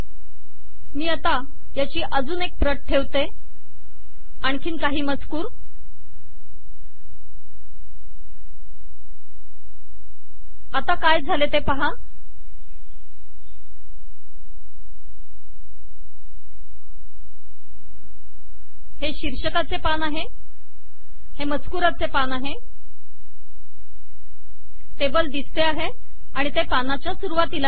मी आता याची अजून एक प्रत ठेवते आणखीन काही मजकूर आता काय झाले आहे की हे शीर्षकाचे पान आहे हे मजकुराचे पान आहे टेबल दिसते आहे आणि ते पानाच्या सरुवातीला गेले आहे